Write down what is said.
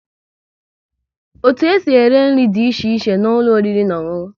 Otu e si ere nri dị iche iche n'ụlọ oriri na ọṅụṅụ